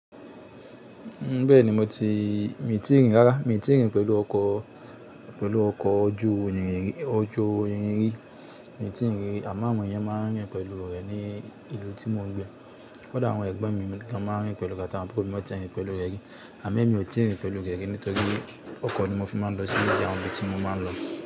Bẹ́ẹ̀ni mo ti í, mi i tí ì rí rárá. Mi i tí ì rín pẹ̀lú ọkọ̀, pẹ̀lú ọkọ̀ ojú irin rí, mi i tí ì rín rí. Àmo awon eeyan máa ń rìn pẹ̀lú rẹ̀ ní ìlú tí mo ń gbé. Kódà àwọn ẹgbon mi gan máa ń rìn pẹ̀lú atawon aburo mi won tí ì rín pẹ̀lú rẹ̀ rí. Àmo emi ò tí ì rín pẹ̀lú rẹ̀ rí, nítorí ọkọ̀ ni mo fi máa ń lọ sí ibi àwọn ibi tí mo máa ń lọ.